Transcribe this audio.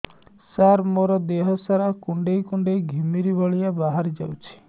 ସାର ମୋର ଦିହ ସାରା କୁଣ୍ଡେଇ କୁଣ୍ଡେଇ ଘିମିରି ଭଳିଆ ବାହାରି ଯାଉଛି